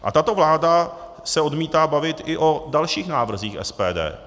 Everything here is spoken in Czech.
A tato vláda se odmítá bavit i o dalších návrzích SPD.